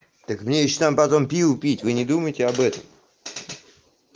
так мне ещё там потом пиво пить вы не думаете об этом